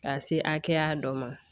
Ka se hakɛya dɔ ma